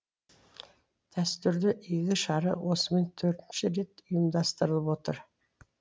дәстүрлі игі шара осымен төртінші рет ұйымдастырылып отыр